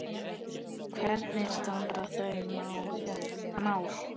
Hvernig standa þau mál?